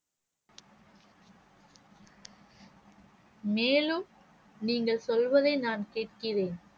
மேலும் நீங்கள் சொல்வதை நான் கேட்கிறேன்